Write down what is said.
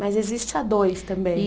Mas existe a dois também.